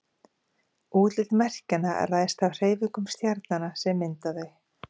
útlit merkjanna ræðst af hreyfingum stjarnanna sem mynda þau